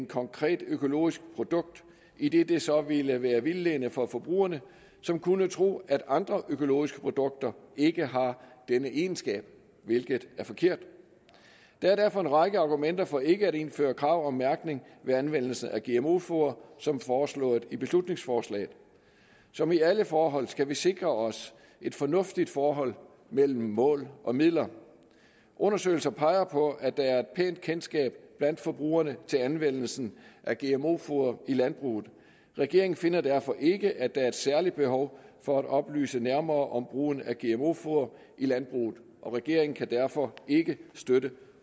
konkret økologisk produkt idet det så ville være vildledende for forbrugerne som kunne tro at andre økologiske produkter ikke har denne egenskab hvilket er forkert der er derfor en række argumenter for ikke at indføre krav om mærkning ved anvendelse af gmo foder som foreslået i beslutningsforslaget som i alle forhold skal vi sikre os et fornuftigt forhold mellem mål og midler undersøgelser peger på at der er et pænt kendskab blandt forbrugerne til anvendelsen af gmo foder i landbruget regeringen finder derfor ikke at der er et særligt behov for at oplyse nærmere om brugen af gmo foder i landbruget regeringen kan derfor ikke støtte